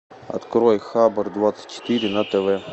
открой хабар двадцать четыре на тв